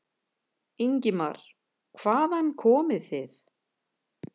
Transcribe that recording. Ingimar: Hvaðan komið þið?